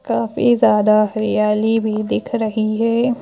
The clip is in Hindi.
काफी ज्यादा हरियाली भी दिख रही है।